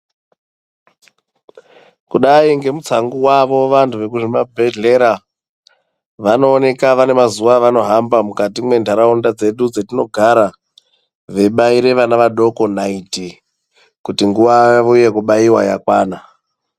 Kudai ngemutsangu wavo vantu vekuzvimabhedhleya vanooneka vanemazuwa avanohamba mukati mendaraunda dzedu dzatinogara veibaire vana vadoko naiti kuti nguwa yavo yekubaire yakwana.